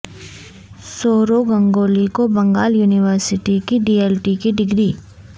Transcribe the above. سورو گنگولی کو Bengal university D Litt لٹ کی ڈگری